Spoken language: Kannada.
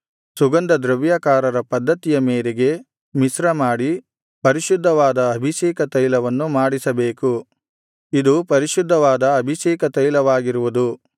ಸುಗಂಧ ದ್ರವ್ಯಕಾರರ ಪದ್ದತಿಯ ಮೇರೆಗೆ ಮಿಶ್ರಮಾಡಿ ಪರಿಶುದ್ಧವಾದ ಅಭಿಷೇಕ ತೈಲವನ್ನು ಮಾಡಿಸಬೇಕು ಇದು ಪರಿಶುದ್ಧವಾದ ಅಭಿಷೇಕ ತೈಲವಾಗಿರುವುದು